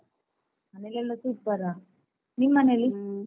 ಮನೆಯಲ್ಲೆಲ್ಲ super ಆ ನಿಮ್ ಮನೆಯಲ್ಲಿ?